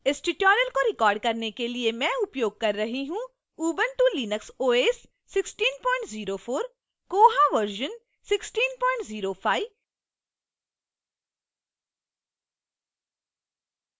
इस tutorial को record करने के लिए मैं उपयोग कर रही हूँ